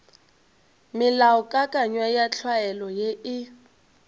melaokakanywa ya tlwaelo ye e